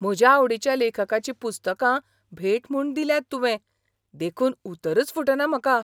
म्हज्या आवडीच्या लेखकाची पुस्तकां भेट म्हूण दिल्यांत तुवें. देखून उतरच फुटना म्हाका!